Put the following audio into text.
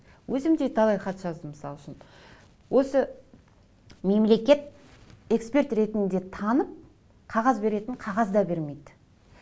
өзім де талай хат жаздым мысал үшін осы мемлекет эксперт ретінде танып қағаз беретін қағаз да бермейді